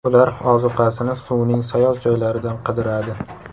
Ular ozuqasini suvning sayoz joylaridan qidiradi.